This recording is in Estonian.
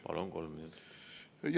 Palun, kolm minutit!